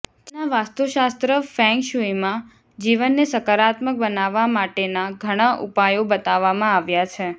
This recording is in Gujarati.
ચીનના વાસ્તુશાસ્ત્ર ફેંગશૂઈમાં જીવનને સકારાત્મક બનાવવા માટેના ઘણા ઉપાયો બતાવવામાં આવ્યા છે